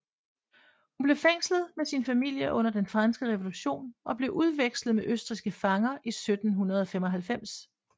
Hun blev fængslet med sin familie under Den Franske Revolution og blev udvekslet med østrigske fanger i 1795